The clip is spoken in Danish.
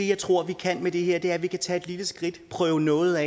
jeg tror vi kan med det her er at vi kan tage et lille skridt og prøve noget af og